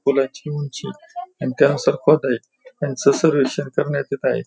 पुलाची उंची आणि त्यानं त्यांचं सर्वेक्षण करण्यात येत आहे.